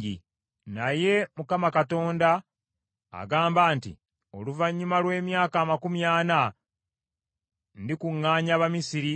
“ ‘Naye Mukama Katonda agamba nti; Oluvannyuma lw’emyaka amakumi ana ndikuŋŋaanya Abamisiri